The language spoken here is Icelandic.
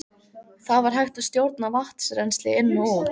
Þá var hægt að stjórna vatnsrennsli inn og út.